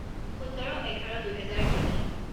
সোতৰ এঘাৰ দুহেজৰ তিনি